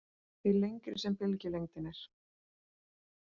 Því lengri sem bylgjulengdin er.